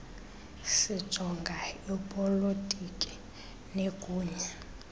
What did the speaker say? sijonga ipolotiki negunya